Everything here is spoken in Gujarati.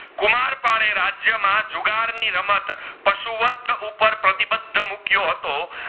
હતો